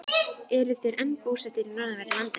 Eru þeir enn búsettir í norðanverðu landinu.